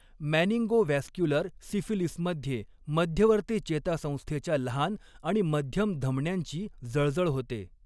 Meningovascular सिफिलीसमध्ये मध्यवर्ती चेतासंस्थेच्या लहान आणि मध्यम धमन्यांची जळजळ होते.